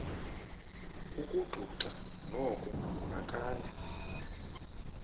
ukugxugxa noko nakala